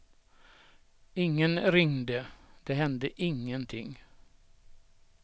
Ingen ringde, det hände ingenting.